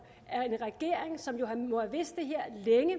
at en regering som jo nu har vidst